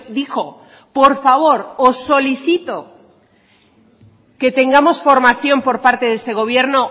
dijo por favor os solicito que tengamos formación por parte de este gobierno